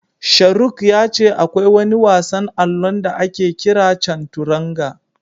Sharuk ya ce akwai wani wasan allon da ake kira Canturanga.